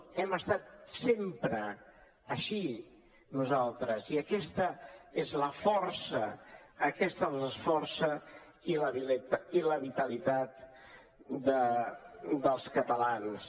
hem estat sempre així nosaltres i aquesta és la força aquesta és la força i la vitalitat dels catalans